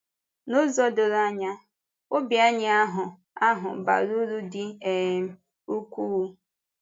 N’ụzọ doro anya, ọ̀bì anyị ahụ ahụ bara uru dị um ukwuu.